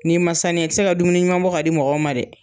N'i ma saniya i ti se ka dumuni ɲuman bɔ k'a di mɔgɔw ma dɛ.